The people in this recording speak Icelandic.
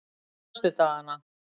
föstudagana